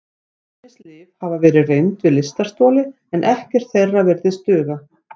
Ýmis lyf hafa verið reynd við lystarstoli en ekkert þeirra virðist duga.